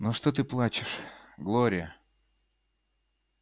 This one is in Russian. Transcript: ну что ты плачешь глория